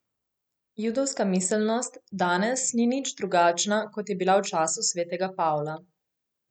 Judovska miselnost danes ni nič drugačna, kot je bila v času svetega Pavla.